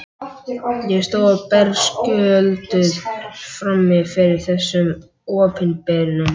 Ég stóð berskjölduð frammi fyrir þessum opinberunum.